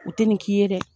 U tɛ nin k'i ye dɛ